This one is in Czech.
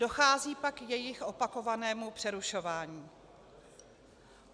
Dochází pak k jejich opakovanému přerušování.